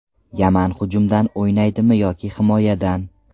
Yaman hujumdan o‘ynaydimi yoki himoyadan?